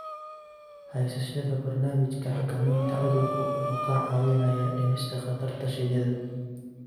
Haysashada barnaamijka xakamaynta cudurku wuxuu kaa caawinayaa dhimista khatarta shinnida.